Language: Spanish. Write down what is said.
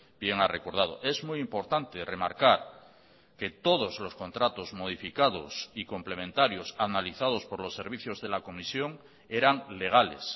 bien ha recordado es muy importante remarcar que todos los contratos modificados y complementarios analizados por los servicios de la comisión eran legales